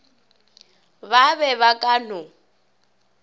ba be ba ka no